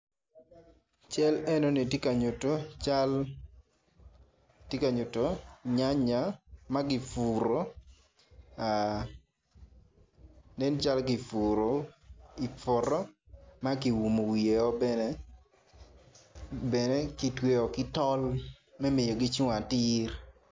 Cal eno ni tye ka nyuto cal tye ka nyuto nyanya ma kiputo nen calo kipuro i poto makiumo wiye bene.